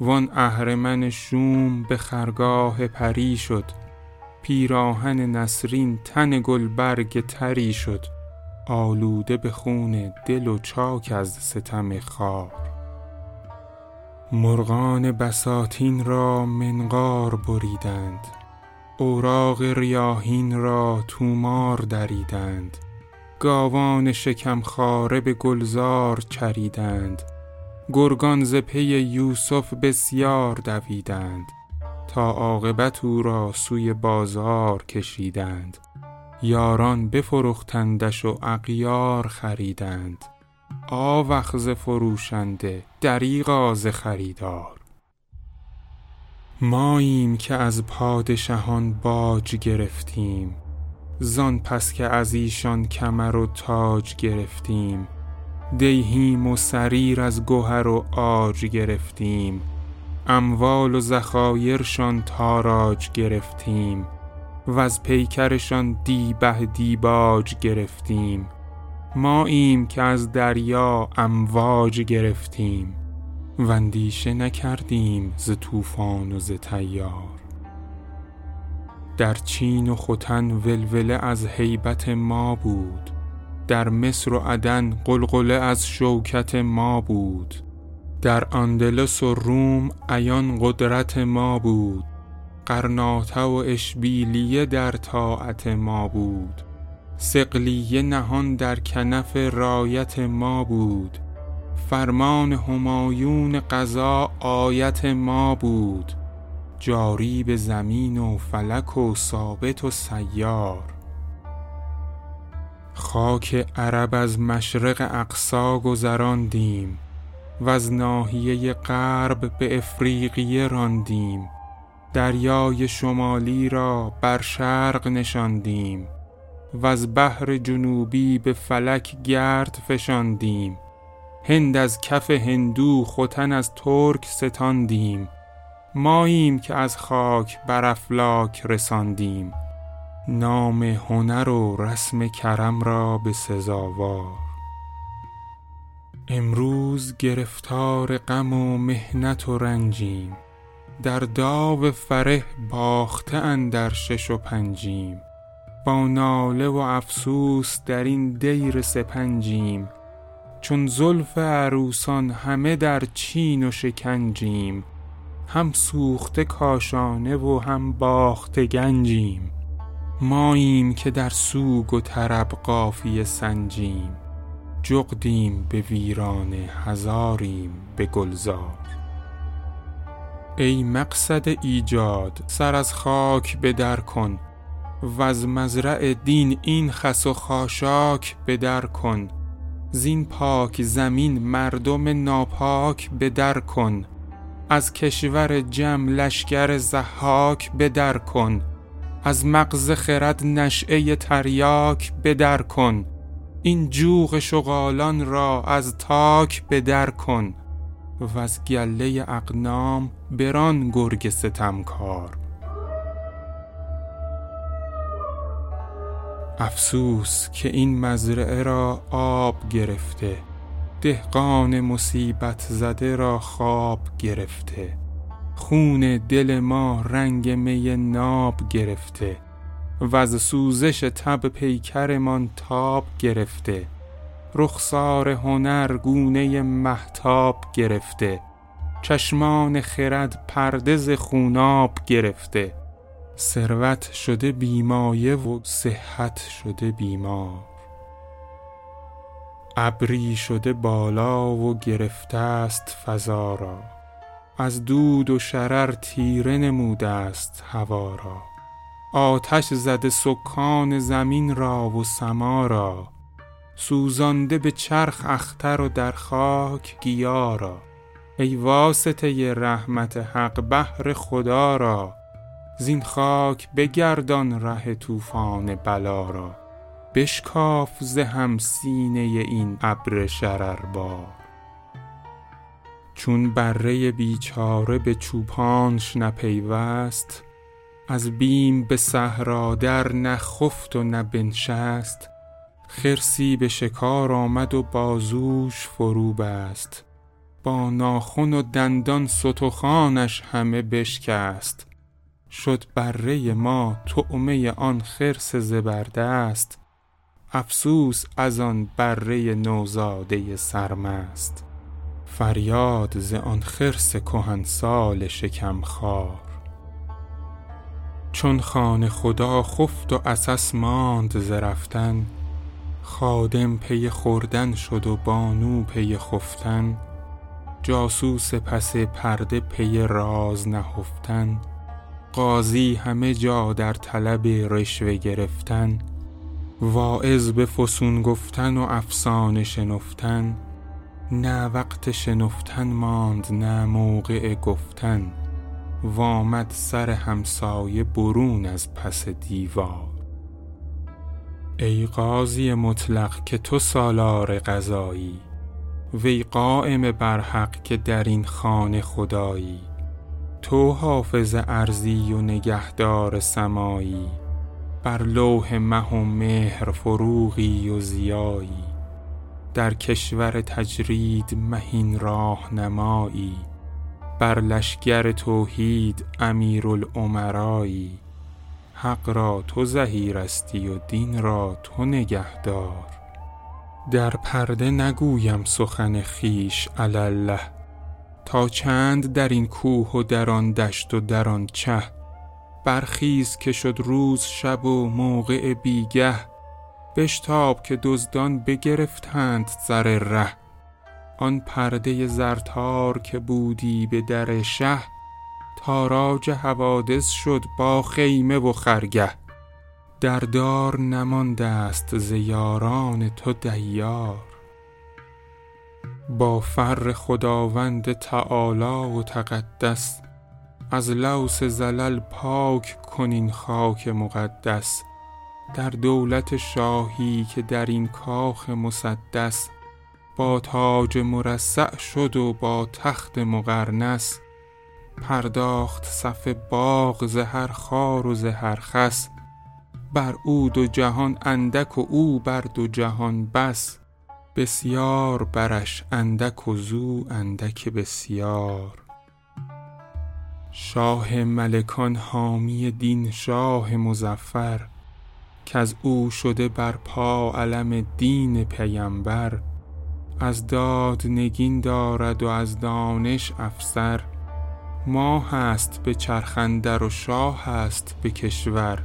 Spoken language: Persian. و آن اهرمن شوم به خرگاه پری شد پیراهن نسرین تن گلبرگ طری شد آلوده به خون دل و چاک از ستم خار مرغان بساتین را منقار بریدند اوراق ریاحین را طومار دریدند گاوان شکم خواره به گلزار چریدند گرگان ز پی یوسف بسیار دویدند تا عاقبت او را سوی بازار کشیدند یاران بفرختندش و اغیار خریدند آوخ ز فروشنده دریغا ز خریدار ماییم که از پادشهان باج گرفتیم زان پس که از ایشان کمر و تاج گرفتیم دیهیم و سریر از گهر و عاج گرفتیم اموال و ذخایرشان تاراج گرفتیم وز پیکرشان دیبه دیباج گرفتیم ماییم که از دریا امواج گرفتیم و اندیشه نکردیم ز طوفان و ز تیار در چین و ختن ولوله از هیبت ما بود در مصر و عدن غلغله از شوکت ما بود در اندلس و روم عیان قدرت ما بود غرناطه و اشبیلیه در طاعت ما بود صقلیه نهان در کنف رایت ما بود فرمان همایون قضا آیت ما بود جاری به زمین و فلک و ثابت و سیار خاک عرب از مشرق اقصی گذراندیم وز ناحیه غرب به افریقیه راندیم دریای شمالی را بر شرق نشاندیم وز بحر جنوبی به فلک گرد فشاندیم هند از کف هندو ختن از ترک ستاندیم ماییم که از خاک بر افلاک رساندیم نام هنر و رسم کرم را به سزاوار امروز گرفتار غم و محنت و رنجیم در داو فره باخته اندر شش و پنجیم با ناله و افسوس در این دیر سپنجیم چون زلف عروسان همه در چین و شکنجیم هم سوخته کاشانه و هم باخته گنجیم ماییم که در سوگ و طرب قافیه سنجیم جغدیم به ویرانه هزاریم به گلزار ای مقصد ایجاد سر از خاک به در کن وز مزرع دین این خس و خاشاک به در کن زین پاک زمین مردم ناپاک به در کن از کشور جم لشکر ضحاک به در کن از مغز خرد نشیه تریاک به در کن این جوق شغالان را از تاک به در کن وز گله اغنام بران گرگ ستمکار افسوس که این مزرعه را آب گرفته دهقان مصیبت زده را خواب گرفته خون دل ما رنگ می ناب گرفته وز سوزش تب پیکرمان تاب گرفته رخسار هنر گونه مهتاب گرفته چشمان خرد پرده ز خوناب گرفته ثروت شده بی مایه و صحت شده بیمار ابری شده بالا و گرفته است فضا را از دود و شرر تیره نموده است هوا را آتش زده سکان زمین را و سما را سوزانده به چرخ اختر و در خاک گیا را ای واسطه رحمت حق بهر خدا را زین خاک بگردان ره طوفان بلا را بشکاف ز هم سینه این ابر شرربار چون بره بیچاره به چوپانش نپیوست از بیم به صحرا در نه خفت و نه بنشست خرسی به شکار آمد و بازوش فروبست با ناخن و دندان ستخوانش همه بشکست شد بره ما طعمه آن خرس زبردست افسوس از آن بره نوزاده سرمست فریاد ز آن خرس کهنسال شکمخوار چون خانه خدا خفت و عسس ماند ز رفتن خادم پی خوردن شد و بانو پی خفتن جاسوس پس پرده پی راز نهفتن قاضی همه جا در طلب رشوه گرفتن واعظ به فسون گفتن و افسانه شنفتن نه وقت شنفتن ماند نه موقع گفتن و آمد سر همسایه برون از پس دیوار ای قاضی مطلق که تو سالار قضایی وی قایم بر حق که در این خانه خدایی تو حافظ ارضی و نگهدار سمایی بر لوح مه و مهر فروغی و ضیایی در کشور تجرید مهین راهنمایی بر لشکر توحید امیرالامرایی حق را تو ظهیرستی و دین را تو نگهدار در پرده نگویم سخن خویش علی الله تا چند در این کوه و در آن دشت و در آن چه برخیز که شد روز شب و موقع بی گه بشتاب که دزدان بگرفتند سر ره آن پرده زرتار که بودی به در شه تاراج حوادث شد با خیمه و خرگه در دار نمانده است ز یاران تو دیار با فر خداوند تعالی و تقدس از لوث زلل پاک کن این خاک مقدس در دولت شاهی که در این کاخ مسدس با تاج مرصع شد و با تخت مقرنس پرداخت صف باغ ز هر خار و ز هر خس بر او دو جهان اندک و او بر دو جهان بس بسیار برش اندک و زو اندک بسیار شاه ملکان حامی دین شاه مظفر کز او شده بر پا علم دین پیمبر از داد نگین دارد و از دانش افسر ماهست به چرخ اندر و شاهست به کشور